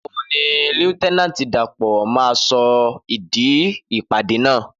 Nígbàwo ní líéutènànti Dàpọ̀ má sọ ìdí ìpàdé náà